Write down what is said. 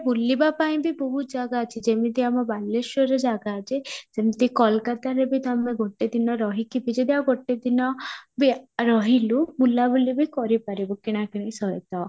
ବୁଲିବା ପାଇଁ ବି ବହୁତ ଜାଗା ଅଛି ଯେମିତି ଆମ ବାଲେଶ୍ୱରରେ ଜାଗା ଅଛି, ସେମିତି କୋଲକାତାରେ ବି ତମେ ଗୋଟେ ଦିନ ରହି କି ବି ଯଦି ଆଉ ଗୋଟେ ଦିନ ବି ରହିଲୁ ବୁଲାବିଲି ବି କରି ପାରିବୁ କିଣାକିଣି ସହିତ